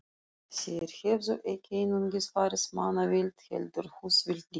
Þeir hefðu ekki einungis farið mannavillt, heldur húsvillt líka.